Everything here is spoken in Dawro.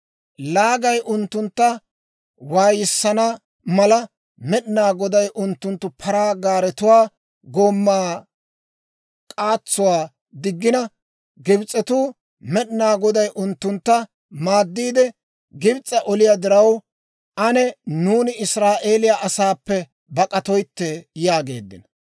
Laagay unttuntta waayissana mala, Med'inaa Goday unttunttu paraa gaaretuwaa gomaa k'aatsuwaa diggina Gibs'etuu, «Med'inaa Goday unttuntta maaddiide Gibs's'a oliyaa diraw, ane nuuni Israa'eeliyaa asaappe bak'atoytte» yaageeddino.